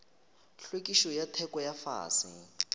hlwekišo ya theko ya fase